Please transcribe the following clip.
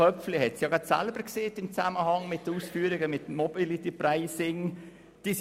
Köpfli hat das ja im Zusammenhang mit seinen Ausführungen zum MobilityPricing auch gesagt.